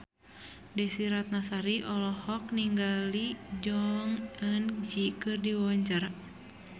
Desy Ratnasari olohok ningali Jong Eun Ji keur diwawancara